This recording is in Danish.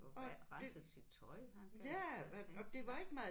Og renset sit tøj han kan det tænker jeg